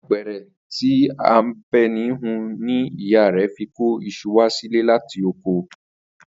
Apẹ̀rẹ̀ tí Àbẹ̀ní hun ni ìyá rẹ̀ fi kó iṣu wá sílé láti oko